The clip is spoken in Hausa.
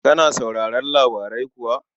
Kana sauraron labarai kuwa?